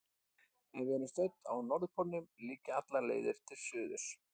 Ef við erum stödd á norðurpólnum liggja allar leiðir til suðurs.